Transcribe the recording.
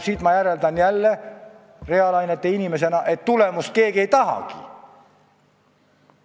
Siit ma järeldan reaalainete inimesena, et keegi ei tahagi tulemust.